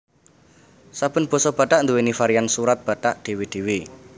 Saben basa Batak nduwèni varian Surat Batak dhéwé dhéwé